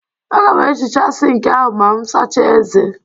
Aga m ehichaa sink ahụ ma m sachaa ezé.